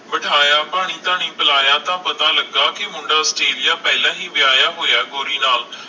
ਬਿਠਾਇਆ ਪਾਣੀ ਧਾਨੀ ਪਿਲਾਇਆ ਤਾਂ ਪਤਾ ਲਗਾ ਕੇ ਮੁੰਡਾ ਆਸਟ੍ਰੇਲੀਆ ਪਹਿਲਾ ਹੀ ਵਿਆਹੀਆਂ ਹੋਇਆ ਗੋਰੀ ਨਾਲ